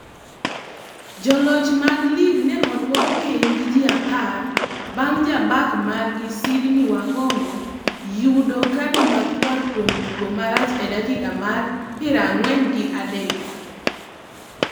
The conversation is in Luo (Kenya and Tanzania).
Joloch mag lig ne oduok piny gi ji apar bang jabak margi Sydney Wahongo yudo kadi makwar kuom tugo marach e dakika mar pira ng'wen gi adek.